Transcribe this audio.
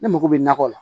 Ne mago bɛ nakɔ la